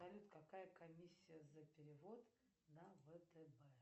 салют какая комиссия за перевод на втб